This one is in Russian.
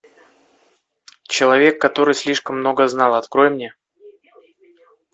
человек который слишком много знал открой мне